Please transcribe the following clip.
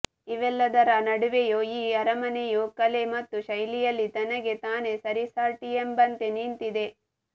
ಇವೆಲ್ಲದರ ನಡುವೆಯು ಈ ಅರಮನೆಯು ಕಲೆ ಮತ್ತು ಶೈಲಿಯಲ್ಲಿ ತನಗೆ ತಾನೇ ಸರಿಸಾಟಿಯೆಂಬಂತೆ ನಿಂತಿದೆ